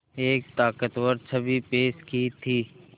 एक ताक़तवर छवि पेश की थी